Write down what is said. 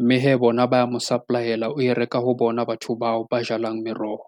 mme hee bona ba ya mo supply-ela o e reka ho bona batho bao ba jalang meroho.